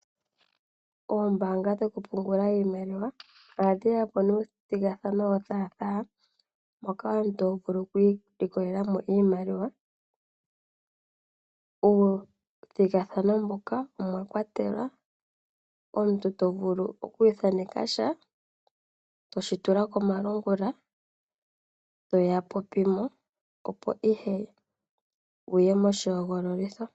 Oombaanga dhoku pungula iimaliwa, oha dhi yapo nomathigathano go thaatha, moka omuntu ho vulu oku ilikolela mo oshimaliwa. Uuthigathano mbuka omwa kwatelwa, omuntu to vulu oku thanekasha to shi tula komalungula to ya popimo opo ihe wu ye moshi hogololitho.